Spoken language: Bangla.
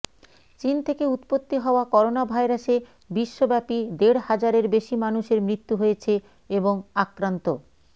চীন থেকে উৎপত্তি হওয়া করোনাভাইরাসে বিশ্বব্যাপী দেড় হাজারের বেশি মানুষের মৃত্যু হয়েছে এবং আক্রান্ত